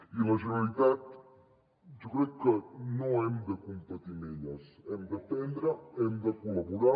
i la generalitat jo crec que no hem de competir amb elles n’hem d’aprendre hi hem de col·laborar